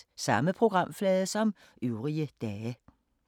Samme programflade som øvrige dage